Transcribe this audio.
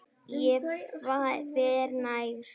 Ég fer nær.